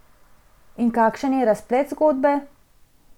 In kakšen je razplet zgodbe?